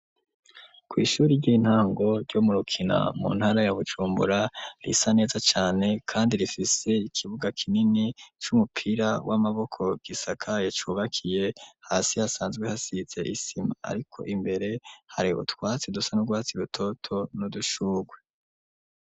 Kw'ishuri ry'intango ryo Murukina mu ntara ya Bujumbura risa neza cane kandi rifise ikibuga kinini c'umupira w'amaboko gisakaye cubakiye hasi hasanzwe hasize isima ariko imbere hari utwatsi dusa n'urwatsi rutoto n'udushurwe.